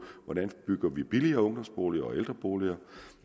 hvordan vi bygger billigere ungdomsboliger og ældreboliger